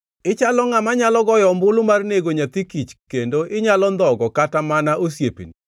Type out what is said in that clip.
Ichalo ngʼama nyalo goyo ombulu mar nego nyathi kich kendo inyalo ndhogo kata mana osiepeni.